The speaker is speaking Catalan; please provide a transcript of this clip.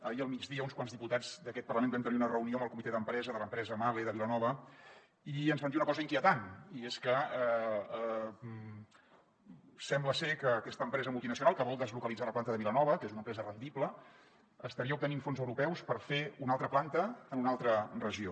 ahir al migdia uns quants diputats d’aquest parlament vam tenir una reunió amb el comitè d’empresa de l’empresa mahle de vilanova i ens van dir una cosa inquietant i és que sembla ser que aquesta empresa multinacional que vol deslocalitzar la planta de vilanova que és una empresa rendible estaria obtenint fons europeus per fer una altra planta en una altra regió